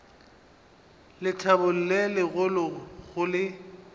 lethabo le legolo go le